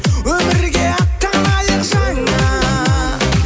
өмірге аттанайық жаңа